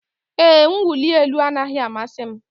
Ee, mwụli elu anaghị amasị m.